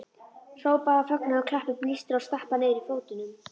Hrópa af fögnuði, klappa, blístra og stappa niður fótunum!